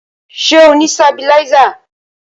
Ṣé o ni sabiláísà?